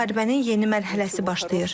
Və müharibənin yeni mərhələsi başlayır.